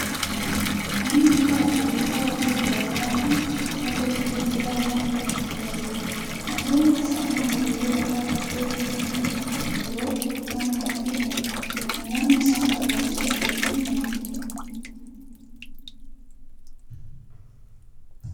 Manni bittaa fi gurgurtaa waantota garaa garaa kun madda galii daldalaa ta'uun kan tajaajiludha. Waantonni akka saamunaa, baruullee barataa, kobbee fi kanneen biroon mana kanatti ni argamu. Namoonni isaan barbaachisu bitachuu ni danda'u.